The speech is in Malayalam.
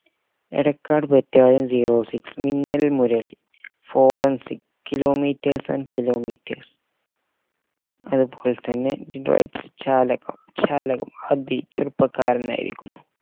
Edakkad battalion zero six Minnal Murali forensic kilometers and kilometers അതുപോലെ തന്നെ ജാലകം അഭി ചെറുപ്പക്കാരനായിരിക്കുന്നു